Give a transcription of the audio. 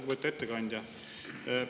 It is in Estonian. Lugupeetud ettekandja!